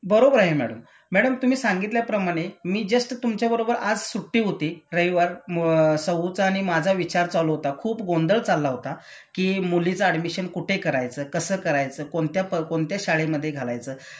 बरोबर आहे madam. Madam तुम्ही सांगितल्याप्रमाणे मी जस्ट तुमच्या बरोबर आज सुट्टी होती रविवार, सौ चा आणि माझा विचार चालू होता.खूप गोंधळ चालला होता कि मुलीच ऍडमिशन कुठे करायचं, कसं करायचं कोणत्या प कोणत्या शाळेमधे घालायचं